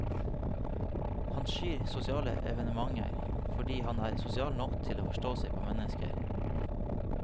Han skyr sosiale evenementer fordi han er sosial nok til å forstå seg på menneskene.